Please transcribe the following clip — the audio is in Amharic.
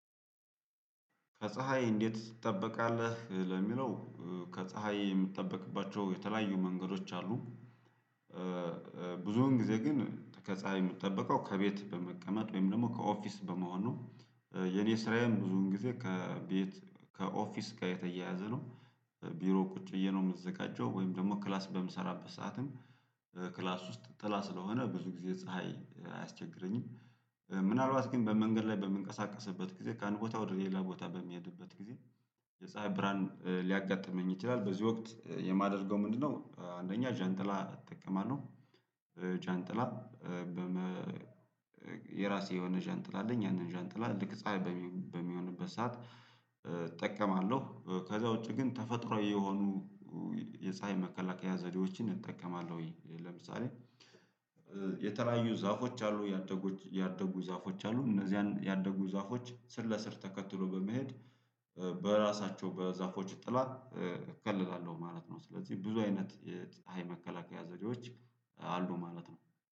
ከፀሀይ እንዴት ትጠበቃለህ ለሚለው? ከፀሀይ የምጠበቅባቸው የተለያዩ መንገዶች አሉ። ብዙውን ጊዜ ግን ከፀሀይ የምጠበቀው ከቤት በመቀመጥ ወይም ደግሞ ከኦፊስ በመሆን ነው። የኔ ስራዬም ብዙን ጊዜ ከቤት ከኦፊስ ጋር የተያያዘ ነው። ቢሮ ቁጭ ብዬ ነው የምዘጋጀው ወይም ደግሞ ክላስ በምሰራበት ሰዓትም ክላስ ውስጥ ጥላ ስለሆነ ብዙ ጊዜ ፀሀይ አያስቸግረኝም። ምናልባት ግን በመንገድ ላይ በምንቀሳቀስበት ጊዜ ከአንድ ቦታ ወደ ሌላ ቦታ በሚሄድበት ጊዜ የፀሀይ ብርሃን ሊያጋጥመኝ ይችላል በዚህ ወቅት የማደርገው ምንድነው? አንደኛ ዣንጥላ እጠቀማለሁ። ዣንጥላ የራሴ የሆነ ዣንጥላ አለኝ። ያንን ዣንጥላ ልክ ፀሀይ በሚሆንበት ሰዓት እጠቀማለሁ ከዛ ውጪ ግን ተፈጥሮ የሆኑ የፀሀይ መከላከያ ዘዴዎችን እጠቀማለሁ። ለምሳሌ የተለያዩ ዛፎች አሉ ያደጉ ያደጉ ዛፎች አሉ እነዚህን ያደጉ ዛፎች ስር ለስር ተከትሎ በመሄድ በራሳቸው በዛፎች ጥላ እከለላለሁ ማለት ነው። ስለዚህ ብዙ አይነት የፀሀይ መከላከያ ዘዴዎች አሉ ማለት ነው